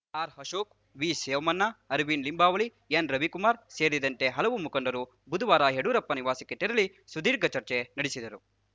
ಆರ್‌ಅಶೋಕ್‌ ವಿಸೋಮಣ್ಣ ಅರವಿಂದ್‌ ಲಿಂಬಾವಳಿ ಎನ್‌ರವಿಕುಮಾರ್‌ ಸೇರಿದಂತೆ ಹಲವು ಮುಖಂಡರು ಬುಧವಾರ ಯಡಿಯೂರಪ್ಪ ನಿವಾಸಕ್ಕೆ ತೆರಳಿ ಸುದೀರ್ಘ ಚರ್ಚೆ ನಡೆಸಿದರು